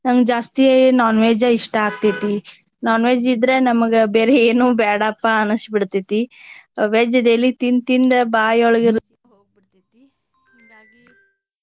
ನಂಗ ಜಾಸ್ತಿ non veg ಇಷ್ಟಾ ಆಗ್ತೆತಿ non veg ಇದ್ರ ನಮ್ಗ ಬೇರೆ ಏನು ಬ್ಯಾಡಾಪಾ ಅನ್ಸಿ ಬಿಡತೇತಿ. veg daily ತಿಂದ ತಿಂದ ಬಾಯಿಯೊಳಗ .